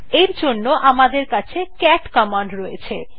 এর জন্য আমাদের কাছে ক্যাট কমান্ড রয়েছে